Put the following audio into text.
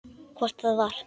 Hvort það var!